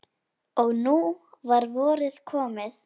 Og nú var vorið komið.